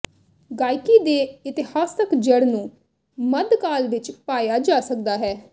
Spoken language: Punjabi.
ਗਾਇਕੀ ਦੇ ਇਤਿਹਾਸਕ ਜੜ੍ਹ ਨੂੰ ਮੱਧਕਾਲ ਵਿੱਚ ਪਾਇਆ ਜਾ ਸਕਦਾ ਹੈ